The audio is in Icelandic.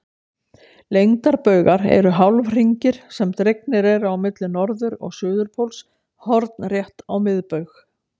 Lengdarbaugar eru hálfhringir sem dregnir eru á milli norður- og suðurpóls hornrétt á miðbaug.